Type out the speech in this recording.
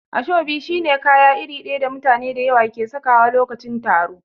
Ashobi shi ne kaya iri daya da mutane da yawa ke sakawa lokacin taro.